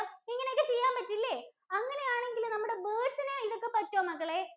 ഇങ്ങനെ ഒക്കെ ചെയ്യാൻ പറ്റും ഇല്ലെ? അപ്പോ അങ്ങനെയാണെങ്കില്‍ നമ്മടെ birds ഇന് ഇതൊക്കെ പറ്റുമോ മക്കളേ?